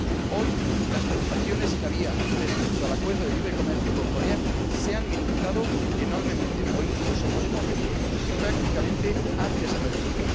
Hoy, las preocupaciones que había respecto al Acuerdo de libre comercio con Corea se han minimizado enormemente, o incluso podemos decir que prácticamente han desaparecido.